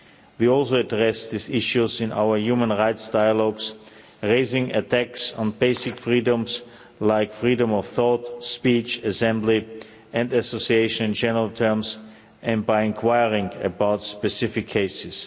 We also address these issues in our human rights dialogues, raising attacks on basic freedoms like freedom of thought, speech, assembly and association in general terms, and by enquiring about specific cases.